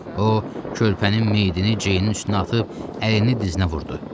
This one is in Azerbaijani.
O körpənin meyitini Ceynin üstünə atıb əlini dizinə vurdu.